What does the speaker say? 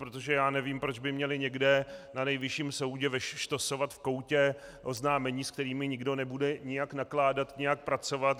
Protože já nevím, proč by měli někde na Nejvyšším soudě štosovat v koutě oznámení, s kterými nikdo nebude nijak nakládat, nijak pracovat.